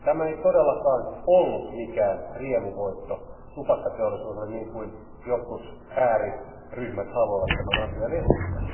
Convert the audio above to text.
Tämä ei todellakaan ollut mikään riemuvoitto tupakkateollisuudelle, niin kuin jotkut ääriryhmät haluavat tämän asian esittää.